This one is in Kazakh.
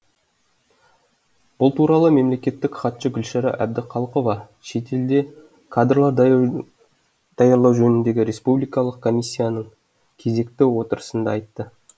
бұл туралы мемлекеттік хатшы гүлшара әбдіқалықова шетелде кадрлар даярлау жөніндегі республикалық комиссияның кезекті отырысында айтты